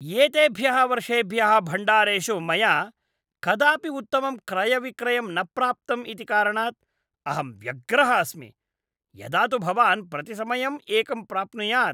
एतेभ्यः वर्षेभ्यः भण्डारेषु मया कदापि उत्तमं क्रयविक्रयं न प्राप्तम् इति कारणात् अहं व्यग्रः अस्मि, यदा तु भवान् प्रतिसमयम् एकं प्राप्नुयात्।